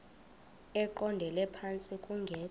eqondele phantsi kungekho